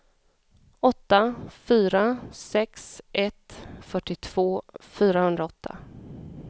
åtta fyra sex ett fyrtiotvå fyrahundraåtta